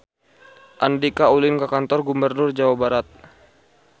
Andika ulin ka Kantor Gubernur Jawa Barat